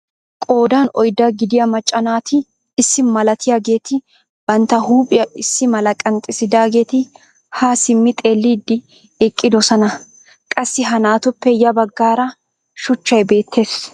Qoodan oyddaa gidiyaa macca naati issi malatiyaageti bantta huuphphiyaa issi mala qanxxisidaageti haa simmi xeelliidi eqqidosona. qassi ha naatupe ya baggaara shuuchchay beettees.